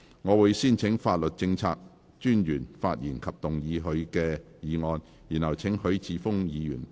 我會先請法律政策專員發言及動議他的議案，然後請許智峯議員發言。